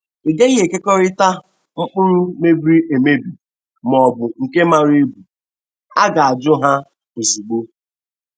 Ịgaghị ekekọịta mpụrụ mebiri emebi ma ọbụ nke mara ebu a ga-ajụ ha ozugbo.